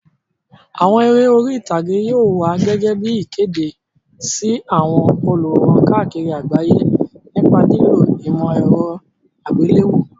Àwọn eré orí ìtàgé yóò wá gẹ́gẹ́ bí ìkéde sí àwọn olùwòran káàkiri àgbáyé nípa lílo ìmọ̀ ẹ̀rọ àgbéléwò.